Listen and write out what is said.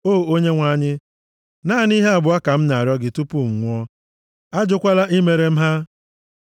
“O Onyenwe anyị, naanị ihe abụọ ka m na-arịọ gị tupu m nwụọ; ajụkwala imere m ha: